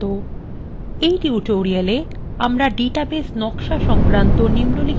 in tutorial